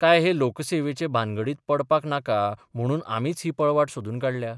काय हे लोकसेवेचे भानगडींत पडपाक नाका म्हणून आमीच ही पळवाट सोदून काढल्या?